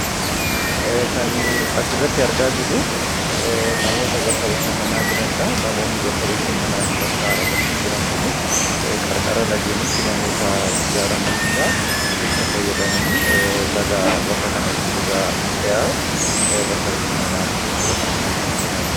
Bakki bashannanaa faayidaa madaalamuu hin dandeenye fi bakka bu’iinsa hin qabne qaba. Jireenya guyyaa guyyaa keessatti ta’ee, karoora yeroo dheeraa milkeessuu keessatti gahee olaanaa taphata. Faayidaan isaa kallattii tokko qofaan osoo hin taane, karaalee garaa garaatiin ibsamuu danda'a.